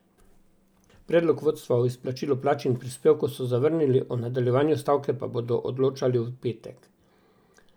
Predlog vodstva o izplačilu plač in prispevkov so zavrnili, o nadaljevanju stavke pa bodo odločali v petek.